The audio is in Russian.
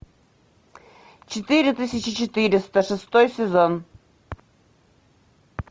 четыре тысячи четыреста шестой сезон